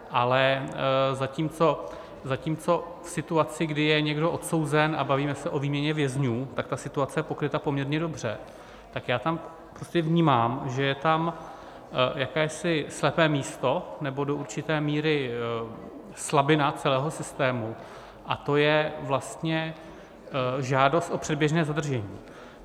Ale zatímco v situaci, kdy je někdo odsouzen, a bavíme se o výměně vězňů, je ta situace je pokryta poměrně dobře, tak já tam prostě vnímám, že je tam jakési slepé místo, nebo do určité míry slabina celého systému, a to je vlastně žádost o předběžné zadržení.